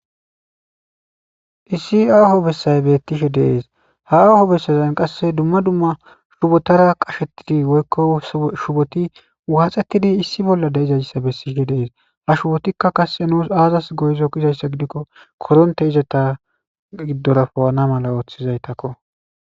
issi aaho bessay beettishe de7es ha aaho bessazan qasse dumma dumma shubotara qashettidi woykko shuboti waaxettidi issi bolla deizayssa bessihe deees ha shubotikka kasse nuus aazas goyzo kizayssa gidikko koronte izata giddorapowana mala ooththizaytakko